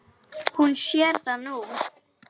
Hún sér það nú.